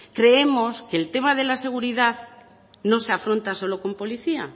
creemos que el tema de la seguridad no se afronta solo con policía